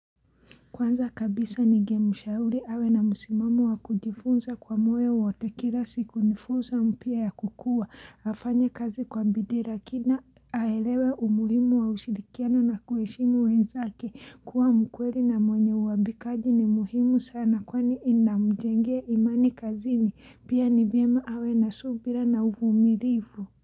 Kwanza kabisa ningemu shauri awe na msimamo wa kujifunza kwa moyo wote kila siku nifunzo mpya ya kukua afanye kazi kwa bidira kina aelewe umuhimu wa ushirikiano na kuwaheshimu wenzake kuwa mkweli na mwenye uwabikaji ni muhimu sana kwani inamjengea imani kazini pia ni vyema awe na subira na uvumirivu.